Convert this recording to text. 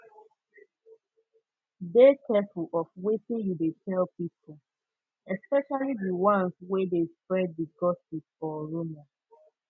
dey careful of wetin you de tell pipo especially di ones wey de spread di gossip or rumor